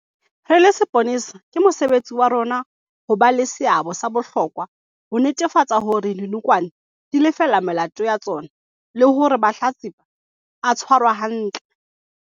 "Re le sepolesa, ke mosebetsi wa rona ho ba le seabo sa bohlokwa ho netefatsa hore dinokwane di lefella melato ya tsona le hore mahlatsipa a tshwarwa hantle."